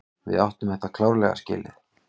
Við áttum þetta klárlega skilið.